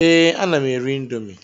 Ee, ana m ere índomi